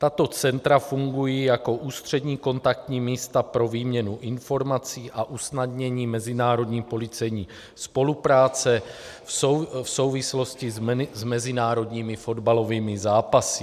Tato centra fungují jako ústřední kontaktní místa pro výměnu informací a usnadnění mezinárodní policejní spolupráce v souvislosti s mezinárodními fotbalovými zápasy.